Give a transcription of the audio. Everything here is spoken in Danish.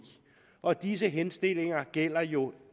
og disse henstillinger gælder jo